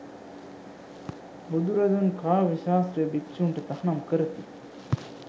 බුදුරදුන් කාව්‍ය ශාස්ත්‍රය භික්‍ෂූන්ට තහනම් කරති.